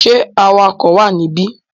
Ṣé awakọ̀ wà níbí?